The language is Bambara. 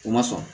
U ma sɔn